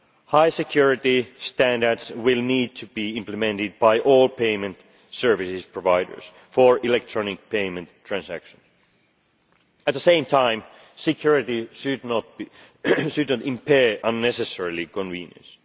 High security standards will need to be implemented by all payment services providers for electronic payment transactions. At the same time, security should not unnecessarily impair convenience.